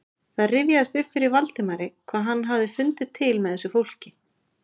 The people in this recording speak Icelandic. Það rifjaðist upp fyrir Valdimari hvað hann hafði fundið til með þessu fólki.